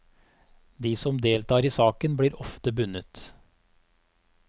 De som deltar i saken blir ofte bundet.